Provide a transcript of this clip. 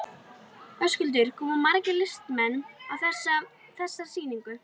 Höskuldur, koma margir listamenn að þessari sýningu?